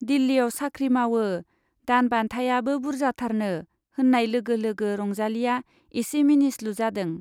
दिल्लीयाव साख्रि मावो, दान बान्थायाबो बुर्जाथारनो होन्नाय लोगो लोगो रंजालीया एसे मिनिस्लु जादों।